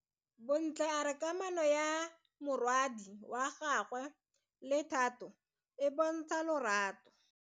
Bontle a re kamano ya morwadi wa gagwe le Thato e bontsha lerato.